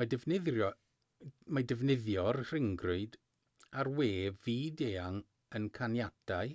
mae defnyddio'r rhyngrwyd a'r we fyd-eang yn caniatáu